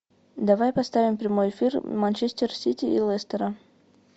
давай поставим прямой эфир манчестер сити и лестера